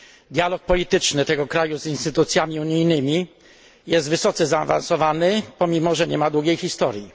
Dialog polityczny tego kraju z instytucjami unijnymi jest wysoce zaawansowany, pomimo że nie ma długiej historii.